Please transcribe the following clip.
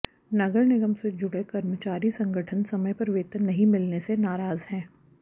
नगर निगम से जुड़े कर्मचारी संगठन समय पर वेतन नहीं मिलने से नाराज हैं